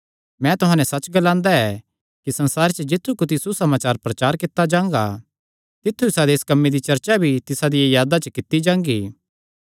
मैं तुहां नैं सच्च ग्लांदा ऐ कि सारे संसारे च जित्थु कुत्थी सुसमाचार प्रचार कित्ता जांगा तित्थु इसादे इस कम्मे दी चर्चा भी तिसा दिया यादा च कित्ती जांगी